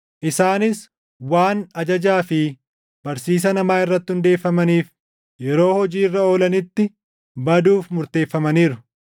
Isaanis waan ajajaa fi barsiisa namaa irratti hundeeffamaniif yeroo hojii irra oolanitti baduuf murteeffamaniiru.